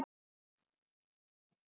Við sjáum hvað gerist.